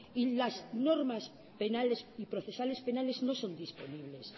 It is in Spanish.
y las normas penales y procesales penales no son disponibles